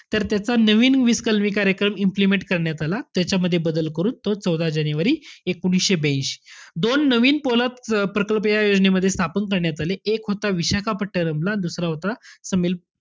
तर त्याचा नवीन वीस कलमी कार्यक्रम implement करण्यात आला. त्याच्यामध्ये बदल करून तो चौदा जानेवारी एकोणीशे ब्यांशी. दोन नवीन पोलाद प~ प्रकल्प या योजनेमध्ये स्थापन करण्यात आले. एक होता विशाखापट्टणमला, दुसरा होता तामिल